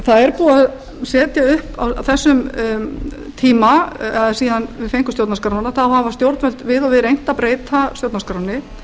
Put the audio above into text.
það er búið að setja upp á þessum tíma síðan við fengum stjórnarskrána þá hafa stjórnvöld við og við reynt að breyta stjórnarskránni